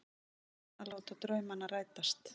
Búinn að láta draumana rætast.